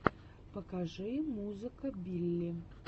покажи музыка билли